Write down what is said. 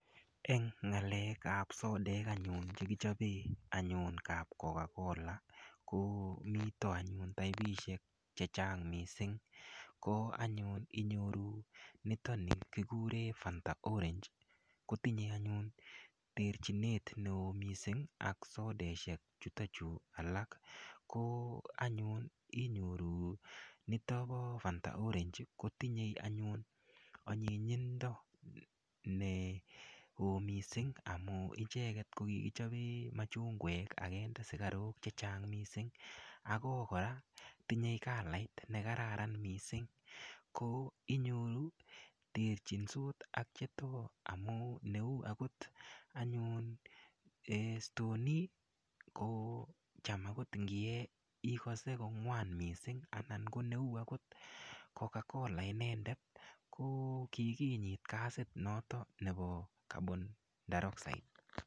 Eng' ng'alekab sodek anyun chekichobe anyun kapkokakola ko mito anyun taipishek chechang' mising' ko anyun inyoru nitoni kikure Fanta orange kotinyei anyun terchinet neo mising' ak sodeshek chutokchu alak ko anyun inyoru nito bo Fanta orange kotinyei anyun onyinyindo neo mising' amun icheket kokikichobe machungwek akende sikarok chechang' mising' ako kora tinyei kalait nekararan mising' ko inyoru terchinsot ak chetos amu neu akot anyun stoney ko cham akot ngiyee ikose kong'wan mising' akot ngoneu akot Coca-Cola inendet kokikinyit gasit noto nebo carbon dioxide